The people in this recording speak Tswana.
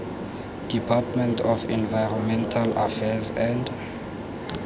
department of environmental affairs and